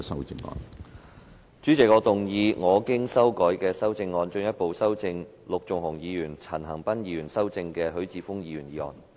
主席，我動議我經修改的修正案，進一步修正經陸頌雄議員及陳恒鑌議員修正的許智峯議員議案。